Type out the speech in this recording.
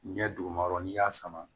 Ɲɛ duguma yɔrɔ n'i y'a sama